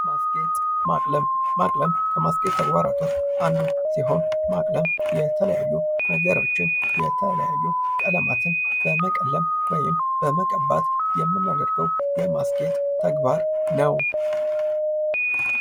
ማስጌጥ ማቅለም ከማስጌጥ ተግባራቶች ውስጥ አንዱ ሲሆን ማቅለም የተለያዩ ነገሮችን የተለያዩ ቀለማትን በመቀለም ወይም በመቀባት የመናደርገው ተግባር ነው።